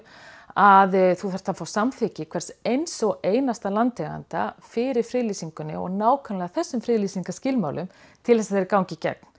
að þú þarft að fá samþykki hvers eins og einasta landeiganda fyrir friðlýsingunni og nákvæmlega þessum friðlýsingarskilmálum til þess að þeir gangi í gegn